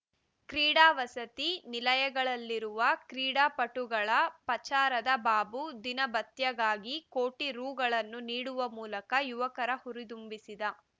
ಕ್ರೀಡಾ ವಸತಿ ನಿಲಯಗಳಲ್ಲಿರುವ ಕ್ರೀಡಾಪಟುಗಳ ಪಚಾರದ ಬಾಬು ದಿನಭತ್ಯಗಾಗಿ ಕೋಟಿ ರೂಗಳನ್ನು ನೀಡುವ ಮೂಲಕ ಯುವಕರ ಹುರಿದುಂಹಿಸಿದ